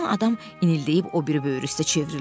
Yatan adam inildəyib o biri böyrü üstə çevrildi.